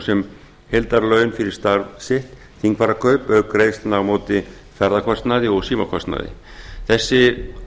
sem heildarlaun fyrir starf sitt þingfararkaup auk greiðslna á móti ferðakostnaði og símakostnaði þessi